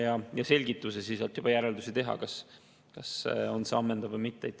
Ta annab selgituse ja siis saab juba järeldusi teha, kas see oli ammendav või mitte.